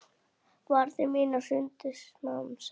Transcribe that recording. Varnir mínar hrundu smám saman.